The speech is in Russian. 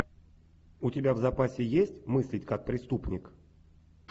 у тебя в запасе есть мыслить как преступник